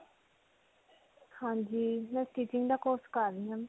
ਹਾਂਜੀ. ਮੈਂ stitching ਦਾ course ਕਰ ਰਹੀ ਹਾਂ.